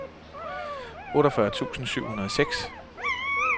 otteogfyrre tusind syv hundrede og seks